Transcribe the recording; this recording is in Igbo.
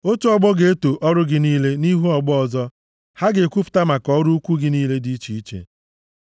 Otu ọgbọ ga-eto ọrụ gị niile nʼihu ọgbọ ọzọ; ha ga-ekwupụta maka ọrụ ukwuu gị niile dị iche iche.